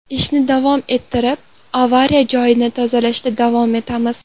Ishni davom ettirib, avariya joyini tozalashda davom etamiz.